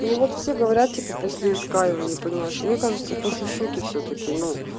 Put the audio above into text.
ну вот все говорят типа после иска его не понимаешь мне кажется после шоке всё-таки ну